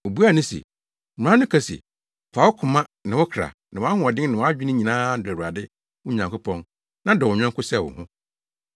Obuaa no se, “Mmara no ka se, ‘Fa wo koma, ne wo kra, ne wʼahoɔden, ne wʼadwene nyinaa dɔ Awurade, wo Nyankopɔn, na dɔ wo yɔnko sɛ wo ho!’ ”